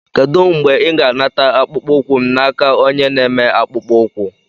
Kedu mgbe ị ga-anata akpụkpọ ụkwụ m n'aka onye na-eme akpụkpọ ụkwụ?